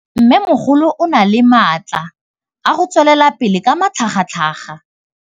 Mmêmogolo o na le matla a go tswelela pele ka matlhagatlhaga.